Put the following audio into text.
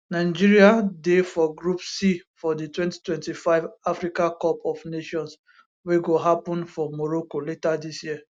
nigeria dey for group c for di 2025 africa cup of nations wey go happun for morocco later dis year